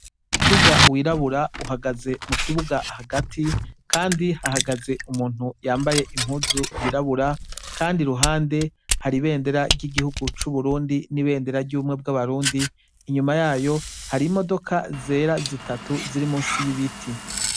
Umuduga w'irabura uhagaze mu kibuga hagati kandi hahagaze umuntu yambaye impuzu yirabura kandi ruhande hari ibendera ry'igihugu c'uburundi n'ibendera ry'ubumwe bw'abarundi, inyuma yayo hari imodoka zera zitatu ziri munsi y'ibiti.